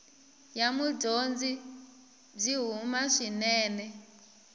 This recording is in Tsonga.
ya mudyondzi byi huma swinene